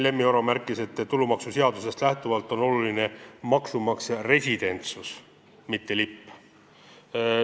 Lemmi Oro märkis, et tulumaksuseadusest lähtuvalt on oluline maksumaksja residentsus, mitte lipp.